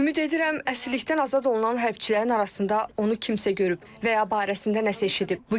Ümid edirəm, əsirlikdən azad olunan hərbçilərin arasında onu kimsə görüb və ya barəsində nəsə eşidib.